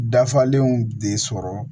Dafalen de sɔrɔ